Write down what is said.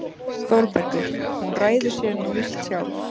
ÞÓRBERGUR: Hún ræður sér nú víst sjálf.